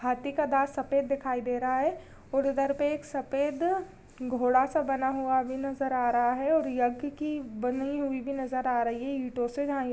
हाथी का दांत सफेद दिखाई दे रहा है और उधर पे एक सफेद घोड़ा सा बना हुआ भी नजर आ रहा है और यज्ञ की बनी हुई भी नजर आ रही है ईंटों से--